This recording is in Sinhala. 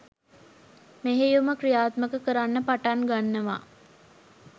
මෙහෙයුම ක්‍රියාත්මක කරන්න පටන් ගන්නවා